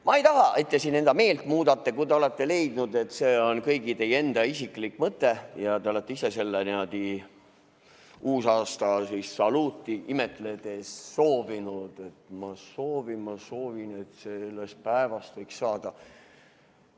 Ma ei taha, et te siin meelt muudate, kui te olete leidnud, et see on kõigi teie isiklik mõte ja te olete ise seda uusaastasaluuti imetledes soovinud, et ma soovin, ma soovin, et sellest päevast võiks saada ...